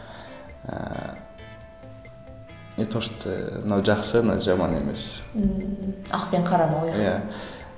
ыыы не то что ыыы мынау жақсы мынау жаман емес ммм ақ пен қараны